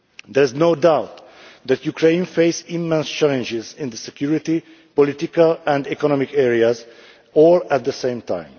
There is no doubt that Ukraine faces immense challenges in the security, political and economic areas all at the same time.